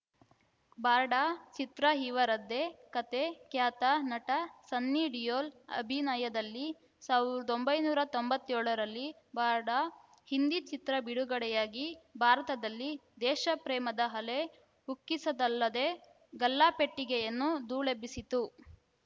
ಬಾರ್ಡ ಚಿತ್ರ ಇವರದ್ದೇ ಕತೆ ಖ್ಯಾತ ನಟ ಸನ್ನಿ ಡಿಯೋಲ್‌ ಅಭಿನಯದಲ್ಲಿ ಸಾವಿರದ ಒಂಬೈನೂರ ತೊಂಬತ್ಯೋಳರಲ್ಲಿ ಬಾರ್ಡ ಹಿಂದಿ ಚಿತ್ರ ಬಿಡುಗಡೆಯಾಗಿ ಭಾರತದಲ್ಲಿ ದೇಶಪ್ರೇಮದ ಅಲೆ ಉಕ್ಕಿಸಿತಲ್ಲದೇ ಗಲ್ಲಾಪೆಟ್ಟಿಗೆಯನ್ನು ಧೂಳೆಬ್ಬಿಸಿತ್ತು